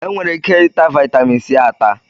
Enwere ike ịta vitaminsi ata